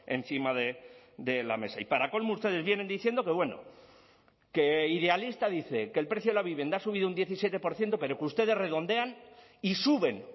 encima de la mesa y para colmo ustedes vienen diciendo que bueno que idealista dice que el precio de la vivienda ha subido un diecisiete por ciento pero que ustedes redondean y suben